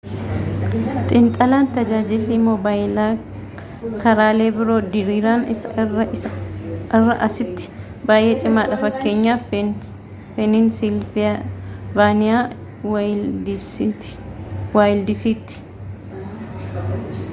xiinxalaan tajaaajilli mobaayilaa karaalee biro diriiran irra assitti bayyee cimaadha fakkeenyaaf peeninsilvaaniyaa waayildisitti